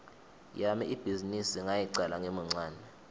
yami ibhizinisi ngayicala ngimuncane